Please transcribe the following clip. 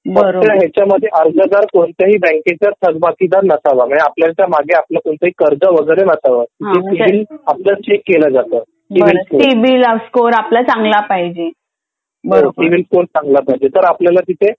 आता ह्याचंध्ये अर्जदार कोणत्याही बँकेच्या थकबाकी चा नसावा मागे आपल्या कोणताही कर्ज वैगरे नसावं सीबिल सिबिल आपला चेक केलं जातं सिबिल स्कोर आपला चांगला पाहिजे नाही तर आपल्याला तिथे